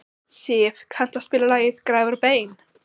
Siv, kanntu að spila lagið „Grafir og bein“?